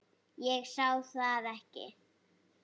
Ég sá það ekki.